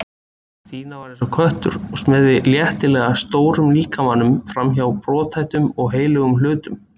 Stína var eins og köttur og smeygði léttilega stórum líkamanum framhjá brothættum og heilögum hlutum.